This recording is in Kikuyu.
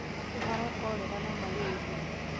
ta cholera, kũharwo na malaria.